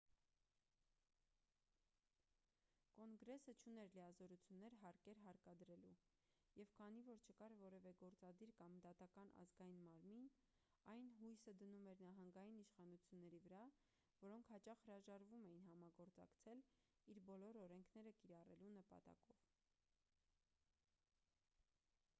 կոնգրեսը չուներ լիազորություններ հարկեր հարկադրելու և քանի որ չկար որևէ գործադիր կամ դատական ազգային մարմին այն հույսը դնում էր նահանգային իշխանությունների վրա որոնք հաճախ հրաժարվում էին համագործակցել իր բոլոր օրենքները կիրառելու նպատակով